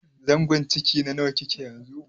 zangon ciki na nawa kike yanzu?